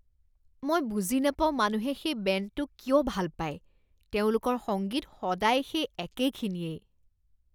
মই বুজি নাপাওঁ মানুহে সেই বেণ্ডটো কিয় ভাল পায়। তেওঁলোকৰ সংগীত সদায় সেই একেখিনিয়েই ।